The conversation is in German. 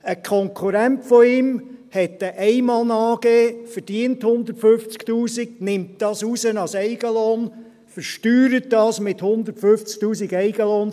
Ein Konkurrent von ihm hat eine Einmann-AG, verdient 150’000 Franken, nimmt diese raus als Eigenlohn, versteuert sie mit 150’000 Franken Eigenlohn;